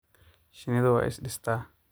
Shinnidu way is dhistaa.